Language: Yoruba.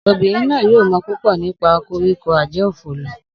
Obinrin naa yoo mọ pupọ nipa koriko-ajeofolo